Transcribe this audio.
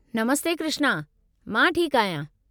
नमस्ते कृष्ना, मां ठीकु आहियां।